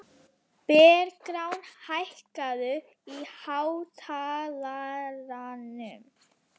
Bergrán, hækkaðu í hátalaranum.